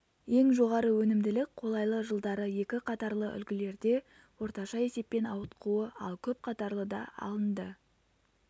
ең жоғары өнімділік қолайлы жылдары екі қатарлы үлгілерде орташа есеппен ауытқуы ал көп қатарлыда алынды